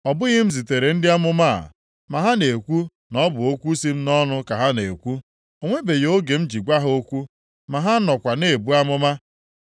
Ọ bụghị m zitere ndị amụma a, ma ha na-ekwu na ọ bụ okwu si m nʼọnụ ka ha na-ekwu. O nwebeghị oge m ji gwa ha okwu, ma ha nọkwa na-ebu amụma.